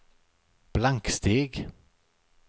blanksteg